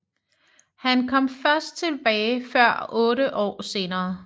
Han kom først tilbage før otte år senere